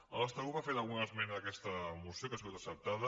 el nostre grup ha fet alguna esmena en aquesta moció que ha sigut acceptada